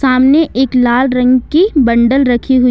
सामने एक लाल रंग की बंडल रखी हुई हैं।